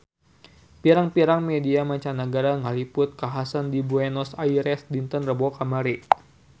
Pirang-pirang media mancanagara ngaliput kakhasan di Buenos Aires dinten Rebo kamari